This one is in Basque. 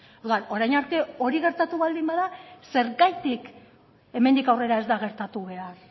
orduan orain arte hori gertatu baldin bada zergatik hemendik aurrera ez da gertatu behar